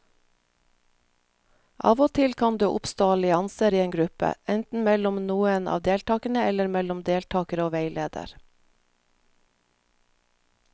Av og til kan det oppstå allianser i en gruppe, enten mellom noen av deltakerne eller mellom deltakere og veileder.